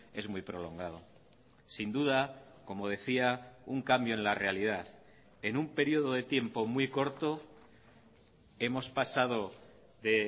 es muy prolongado sin duda como decía un cambio en la realidad en un periodo de tiempo muy corto hemos pasado de